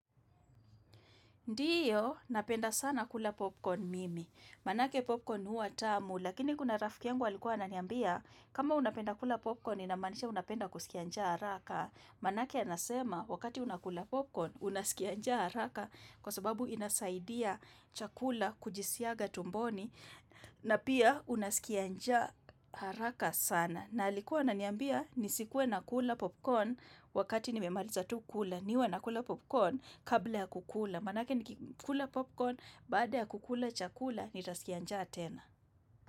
Ndiyo, napenda sana kula popcorn mimi. Maanake popcorn hua tamu, lakini kuna rafki yangu alikuwa ananiambia, kama unapenda kula popcorn, inamanisha unapenda kusikia njaa haraka. Maanake anasema, wakati unakula popcorn, unasikia njaa haraka, kwa sababu inasaidia chakula kujisiaga tumboni, na pia unasikia njaa haraka sana. Na alikuwa ananiambia, nisikuwe nakula popcorn wakati nimemaliza tu kula, niwe nakula popcorn kabla ya kukula. Maanake ni kukula popcorn baada ya kukula chakula ni tasikia njaa tena.